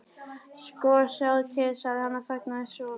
Sko, sjáðu til. sagði hann og þagnaði svo.